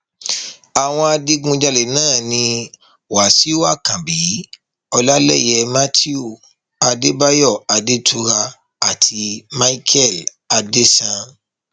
àwọn adigunjalè náà ni wàsíù àkànbí ọlálẹyé matthew adébáyò adétura àti micheal adéṣán